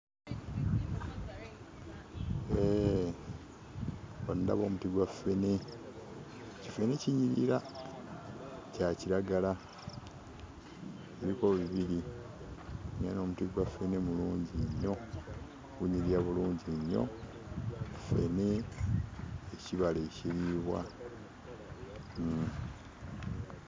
Eee... wano ndabawo omuti gwa ffene, kiffene kinyirira! Kya kiragala. Biriko bibiri era n'omuti gwa ffene mulungi nnyo! Gunyirira bulungi nnyo. Ffene ekibala ekiriibwa. Uhm.